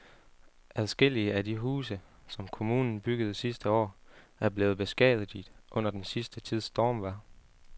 Adskillige af de huse, som kommunen byggede sidste år, er blevet beskadiget under den sidste tids stormvejr.